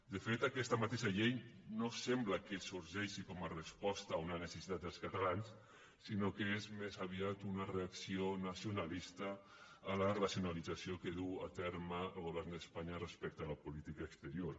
de fet aquesta mateix llei no sembla que sorgeixi com a resposta a una necessitat dels catalans sinó que és més aviat una reacció nacionalista a la racionalització que duu a terme el govern d’espanya respecte a la política exterior